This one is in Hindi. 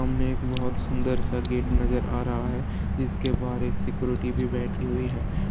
सामने एक बहुत सुंदर सा गेट नजर आ रहा है जिसके बाहर एक सिक्योरिटी भी बैठी है।